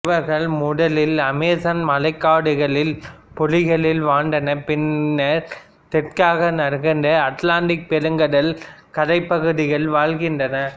இவர்கள் முதலில் அமேசான் மழைக்காடுகளில் பொழிகளில் வாழ்ந்தனர் பின்னர் தெற்காக நகர்ந்து அட்லாண்டிக் பெருங்கடல் கரைப் பகுதிகளில் வாழ்கின்றனர்